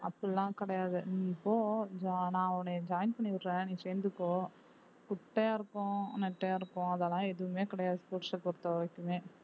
அப்படி எல்லாம் கிடையாது நீ போ நான் உன்னை join பண்ணி விடுறேன் நீ சேர்ந்துக்கோ குட்டையா இருக்கோம் நெட்டையா இருக்கோம் அதெல்லாம் எதுவுமே கிடையாது sports அ பொறுத்தவரைக்குமே